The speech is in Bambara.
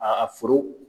A foro